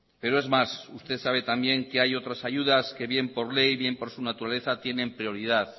pero es más usted sabe también que hay otras ayudas que bien por ley o bien por su naturaleza tienen prioridad